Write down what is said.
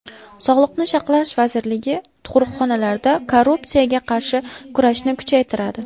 Sog‘liqni saqlash vazirligi tug‘ruqxonalarda korrupsiyaga qarshi kurashni kuchaytiradi.